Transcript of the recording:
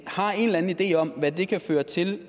har en eller anden idé om hvad det kan føre til